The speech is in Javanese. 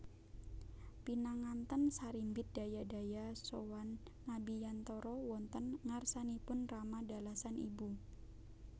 Pinanganten sarimbit daya daya sowan ngabiyantoro wonten ngarsanipun rama dalasan ibu